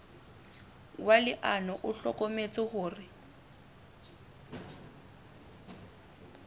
wa leano o hlokometse hore